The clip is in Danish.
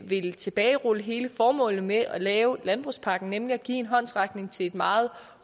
vil tilbagerulle hele formålet med at lave landbrugspakken nemlig at give en håndsrækning til et meget